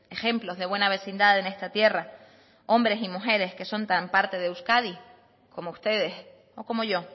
ejemplos de buena vecindad en esta tierra hombres y mujeres que son tan parte de euskadi como ustedes o como yo